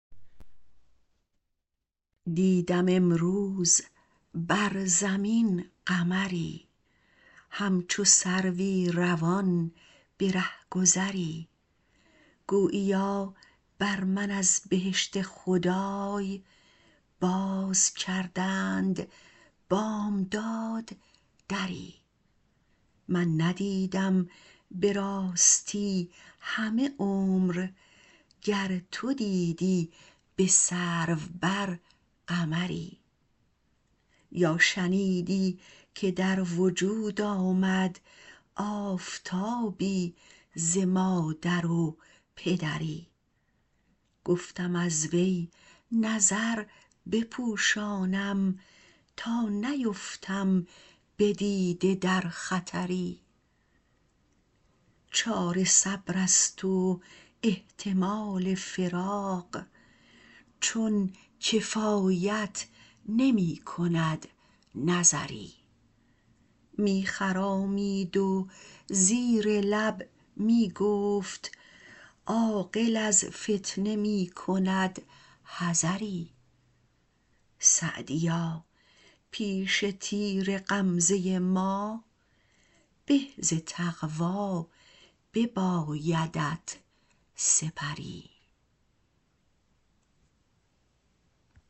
دیدم امروز بر زمین قمری همچو سروی روان به رهگذری گوییا بر من از بهشت خدای باز کردند بامداد دری من ندیدم به راستی همه عمر گر تو دیدی به سرو بر قمری یا شنیدی که در وجود آمد آفتابی ز مادر و پدری گفتم از وی نظر بپوشانم تا نیفتم به دیده در خطری چاره صبر است و احتمال فراق چون کفایت نمی کند نظری می خرامید و زیر لب می گفت عاقل از فتنه می کند حذری سعدیا پیش تیر غمزه ما به ز تقوا ببایدت سپری